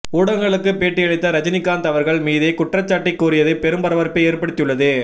ஊடகங்களுக்கு பேட்டியளித்த ரஜினிகாந்த் அவர்கள் மீதே குற்றச்சாட்டை கூறியது பெரும் பரபரப்பை ஏற்படுத்தி உள்ளது